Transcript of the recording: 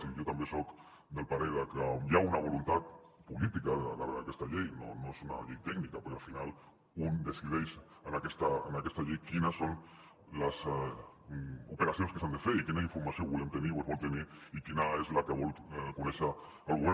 i jo també soc del parer de que hi ha una voluntat política darrere d’aquesta llei no és una llei tècnica perquè al final un decideix en aquesta llei quines són les operacions que s’han de fer i quina informació volem tenir o es vol tenir i quina és la que vol conèixer el govern